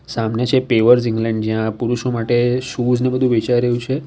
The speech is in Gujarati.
સામને છે પેવર્સ ઇંગ્લેન્ડ જ્યાં પુરુષો માટે શૂઝ ને બધું વેચાઈ રહ્યું છે.